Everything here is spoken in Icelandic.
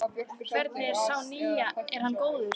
Hvernig er sá nýi, er hann góður?